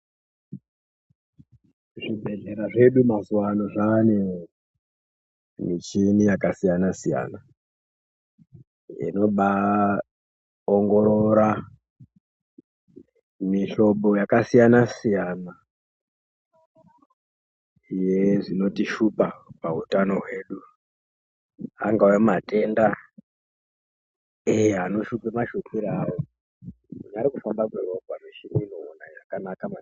Zvibhedhlera zvedu mazuva ano zvane michini yakasiyana-siyana. Inoba ongorora mihlobo yakasiyana-siyana, yezvinotishupa pautano hwedu. Angava matenda ei anoshupa mashupiro avo ari kufamba kweropa mishini inoona zvakanaka maningi.